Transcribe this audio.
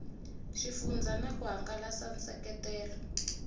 xifundzha na ku hangalasa nseketelo